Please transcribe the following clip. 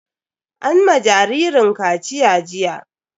An ma jaririn kaciya jiya.